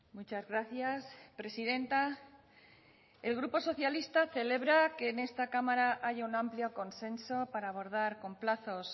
muchas gracias presidenta el grupo socialista celebra que en esta cámara haya un amplio consenso para abordar con plazos